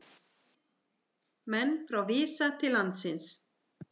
Menn frá Visa til landsins